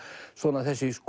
svona þessi